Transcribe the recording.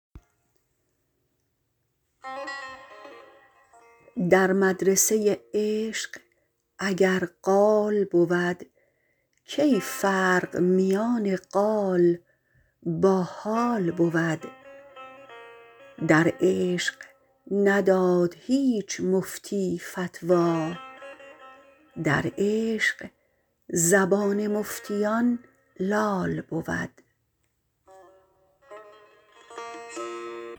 در مدرسه عشق اگر قال بود کی فرق میان قال با حال بود در عشق نداد هیچ مفتی فتوی در عشق زبان مفتیان لال بود